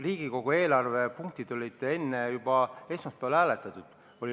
Riigieelarve punktid olid juba esmaspäeval läbi hääletatud.